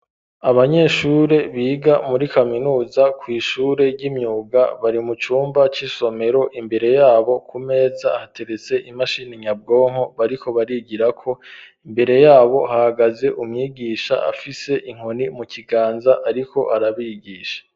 Abanyeshure biga muri kaminuza kw'ishure ry'imyuga bari mu cumba c'isomero imbere yabo ku meza hateretse imashini nyabwonko bariko barigirako imbere yabo hahagaze umwigisha afise inkoni mu kiganza ariko arabigisha.